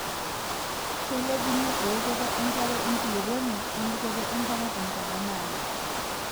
Keilepunyie eokoto enkare enkulukuoni wembikoto enkare tenkata naado.